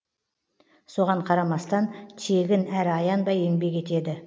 соған қарамастан тегін әрі аянбай еңбек етеді